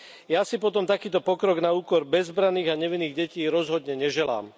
Ja si potom takýto pokrok na úkor bezbranných a nevinných detí rozhodne neželám.